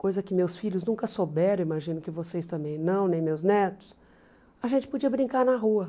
coisa que meus filhos nunca souberam, imagino que vocês também não, nem meus netos, a gente podia brincar na rua.